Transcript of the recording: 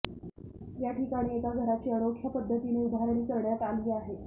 याठिकाणी एका घराची अनोख्या पद्धतीने उभारणी करण्यात आली आहे